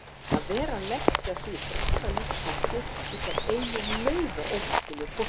Að vera að leggja sig í bráða lífshættu út af einu nauðaómerkilegu póstkorti!